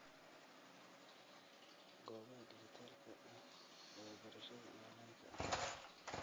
Goobaha dhijitaalka ah ee barashada onlaynka ah